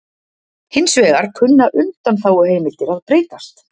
Hins vegar kunna undanþáguheimildir að breytast